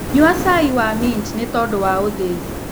Nyua cai wa mĩnt nĩtondũ wa ũthĩĩ